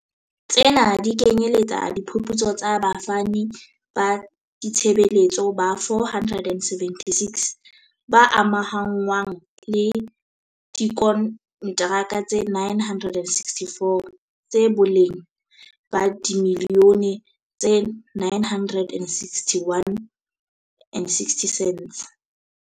Tsena di kenyeletsa diphuputso tsa bafani ba ditshebeletso ba 476, ba amahanngwang le diko ntraka tse 964, tsa boleng ba dimiliyone tse R961.6.